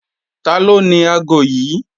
Taló ni aago yí?